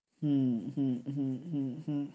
হুম হুম হুম হুম হুম